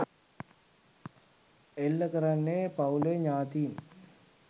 එල්ල කරන්නේ පවුලේ ඥාතීන්